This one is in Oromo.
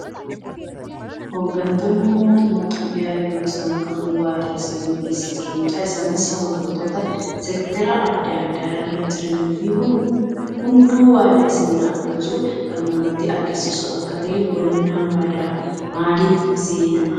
Hoggantooti mootummaa Itoophiyaa yeroo isaan kakuu waadaa seenuu keessa jiranii dha. Isaanis hoggantoota seektera addaa addaa irra jiranii fi hunduu waadaa seenaa akka jiru kan namatti agarsiisu akka tahe hubanna. Waadaan maaliif seenama?